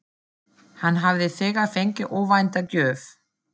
Hann hafði þegar fengið óvænta gjöf.